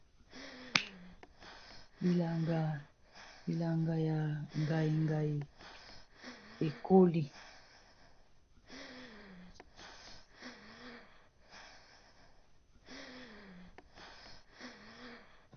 Bilanga ya ngaingai ekoli